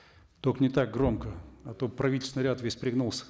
только не так громко а то правительственный ряд весь пригнулся